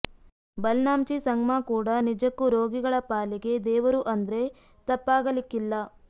ಬಲ್ನಾಮ್ಚಿ ಸಂಗ್ಮಾ ಕೂಡ ನಿಜಕ್ಕೂ ರೋಗಿಗಳ ಪಾಲಿಗೆ ದೇವರು ಅಂದ್ರೆ ತಪ್ಪಾಗಲಿಕ್ಕಿಲ್ಲ